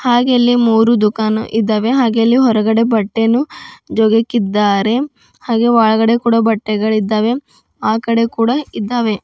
ಹಾಗೆ ಇಲ್ಲಿ ಮೂರು ದುಕಾನು ಇದಾವೆ ಹಾಗೆ ಅಲ್ಲಿ ಹೊರಗಡೆ ಬಟ್ಟೆಯನು ಜೋಗಿಕ್ಕಿದ್ದಾರೆ ಹಾಗೆ ಒಳಗಡೆ ಕೂಡ ಬಟ್ಟೆಗಳಿದ್ದಾವೆ ಆಕಡೆ ಕೂಡ ಇದ್ದಾವೆ.